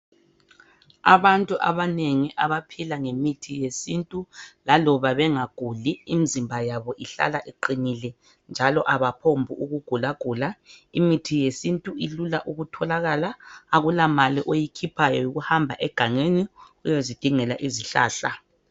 abantu abanengi abaphila ngemithi yesintu laloba bengaguli imizimba yabo ihlala iqinile njalo abophombi ukugulagula imithi yesintu ilula ukutholakala akula mali oyikhiphayo yikuhamba egangeni uyozidingela izihlahla